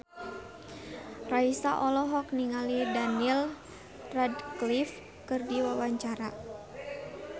Raisa olohok ningali Daniel Radcliffe keur diwawancara